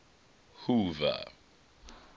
hoover